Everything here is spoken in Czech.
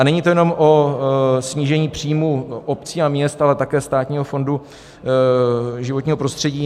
A není to jenom o snížení příjmů obcí a měst, ale také Státního fondu životního prostředí.